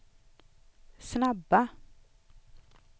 snabba